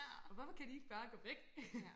Og hvorfor kan de ikke bare gå væk